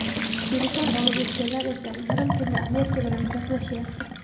Telefon olib o‘tganlar esa yarim tunda Amerika bilan gaplashyapti.